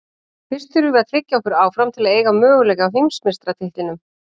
Fyrst þurfum við að tryggja okkur áfram til að eiga möguleika á heimsmeistaratitlinum.